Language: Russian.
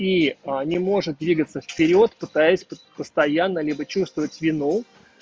и не может двигаться вперёд пытаясь постоянно либо чувствовать вину